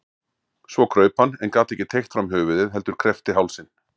Svo kraup hann en gat ekki teygt fram höfuðið heldur kreppti hálsinn.